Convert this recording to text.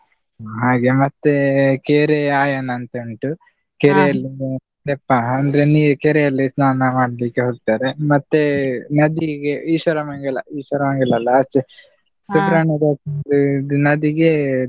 ಹಾಗೆ ಮತ್ತೇ ಕೆರೆ ಆಯನ ಅಂತುಂಟು, ಅಂದ್ರೆ ನೀರ್ ಕೆರೆಯಲ್ಲಿ ಸ್ನಾನ ಮಾಡ್ಲಿಕ್ಕೆ ಹೋಗ್ತಾರೆ, ಮತ್ತೆ ನದಿಗೆ Ishwara Mangala Ishwara Mangala ಅಲ್ಲ ಆಚೆ ದು ನದಿಗೆ.